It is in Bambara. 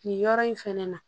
Nin yɔrɔ in fɛnɛ na